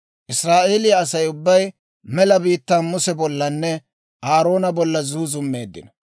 Israa'eeliyaa asaa ubbay mela biittaan Muse bollanne Aaroona bolla zuuzummeeddino.